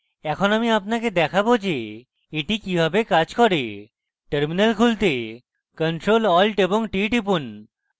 এখন alt আপনাকে দেখাবো যে এটি কিভাবে কাজ করে terminal খুলতে ctrl + alt + t টিপুন